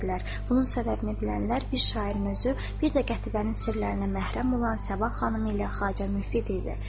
Bunun səbəbini bilənlər bir şairin özü, bir də Qətibənin sirlərinə məhrəm olan Sabah xanımı ilə Xacə Müftid idi.